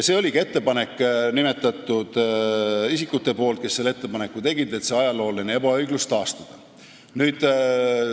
Isikud, kes selle muudatusettepaneku tegid, soovisidki selle ebaõigluse kaotada.